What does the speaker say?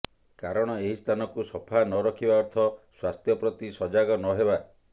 କାରଣ ଏହି ସ୍ଥାନକୁ ସଫା ନରଖିବା ଅର୍ଥ ସ୍ୱାସ୍ଥ୍ୟ ପ୍ରତି ସଜାଗ ନ ହେବା